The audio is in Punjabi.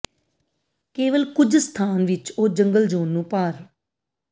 ਕੇਵਲ ਕੁਝ ਸਥਾਨ ਵਿੱਚ ਉਹ ਜੰਗਲ ਜ਼ੋਨ ਨੂੰ ਪਾਰ